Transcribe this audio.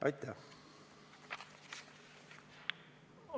Aitäh!